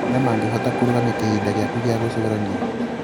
marĩa mangĩhota kũrũgamia kĩhinda gĩaku gĩa gũcũrania.